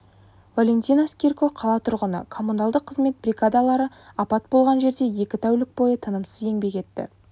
валентина скирко қала тұрғыны коммуналдық қызмет бригадалары апат болған жерде екі тәулік бойы тынымсыз еңбек етті